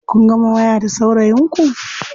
Kun gama waya da saurayin ku?